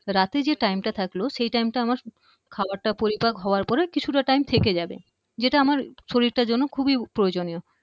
রাতে যে time টা থাকল সে time টা আমার খাবারটা পরিপাক হবার পরে কিছুটা time থেকে যাবে যেটা আমার শরীরটার জন্য খুবই প্রয়োজনীয়।